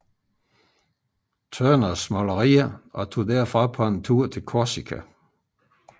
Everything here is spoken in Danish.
Turners malerier og tog derfra på en tur til Korsika